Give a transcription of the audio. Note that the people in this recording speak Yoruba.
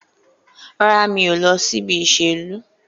Rárá, mi ò lọ síbi ìṣèlú.